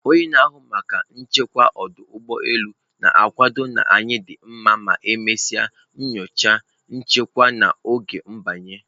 onye na-ahụ maka nchekwa ọdụ ụgbọ elu na-akwado na anyị dị mma ma e mesịa nyocha, nchekwa n'oge m/banye.